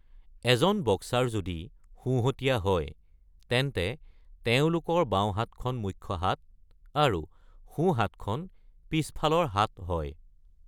এজন বক্সাৰ যদি সোঁহতীয়া হয়, তেন্তে তেওঁলোকৰ বাওঁহাতখন মুখ্য হাত আৰু সোঁহাতখন পিছফালৰ হাত হয়।